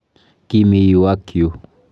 Kimi yu ak yu